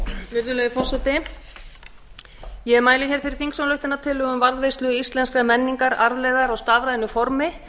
virðulegi forseti ég mæli hér fyrir þingsályktunartillögu um varðveislu íslenskrar menningararfleifðar á stafrænu formi